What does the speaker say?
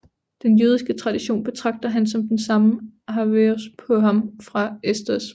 Den jødiske tradition betragter ham som den samme Ahasverus på ham fra Esters bog